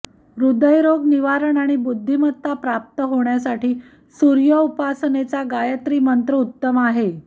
हृदयरोग निवारण आणि बुद्धिमत्ता प्राप्त होण्यासाठी सूर्योपासनेचा गायत्री मंत्र उत्तम आहे